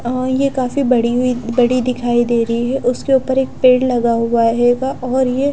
और ये काफी बड़ी हुई बड़ी दिखाए दे रही है उसके ऊपर एक पेड़ लगा हुआ हेगा और ये--